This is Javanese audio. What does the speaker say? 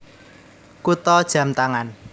Kutha jam tangan